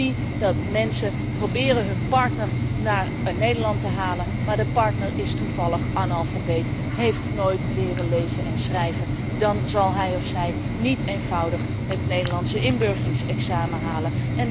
Ik zie dat mensen proberen hun partner naar Nederland te halen, maar als de partner toevallig analfabeet is, nooit heeft leren lezen en schrijven, dan zal hij of zij niet eenvoudig het Nederlandse inburgeringsexamen halen.